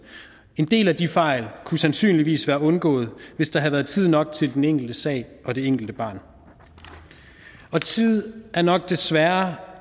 en del af de fejl kunne sandsynligvis være undgået hvis der havde været tid nok til den enkelte sag og det enkelte barn tid er nok desværre